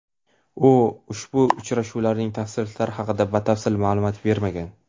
U ushbu uchrashuvlarning tafsilotlari haqida batafsil ma’lumot bermagan.